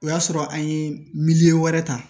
O y'a sɔrɔ an ye miliyɔn wɛrɛ ta